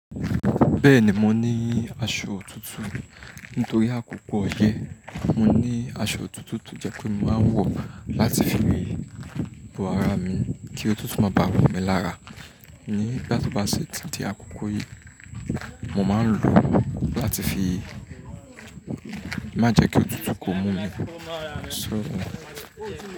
Bẹ́ẹ̀ni mo ní aṣọ òtútù nítorí àkókò ọyẹ́. Mo ní aṣọ òtútù tó jẹ́ pé mo máa ń wọ̀ láti fi bo ara mi kí òtútù má bàa múmí lára nígbà tí bá ṣe títí àkókò yìí. Mo máa ń lò ó láti fi má jẹ́ kí òtútù kó mú mí.